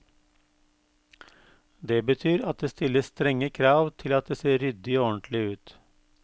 Det betyr at det stilles strenge krav til at det ser ryddig og ordentlig ut.